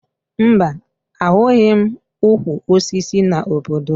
Mba, ahụghị m ukwu osisi n'obodo m